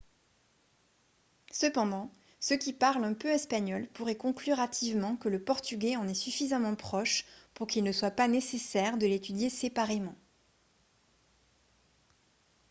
cependant ceux qui parlent un peu espagnol pourraient conclure hâtivement que le portugais en est suffisamment proche pour qu'il ne soit pas nécessaire de l'étudier séparément